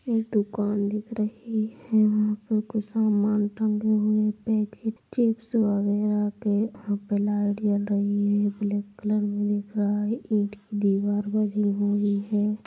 ये दुकान दिख रहे है वहाँ पर कुछ समान टंगे हुए पैकेट चिप्स वैगरह के ब्लैक कलर में दिख रहा है एक दीवार बनी हुई है।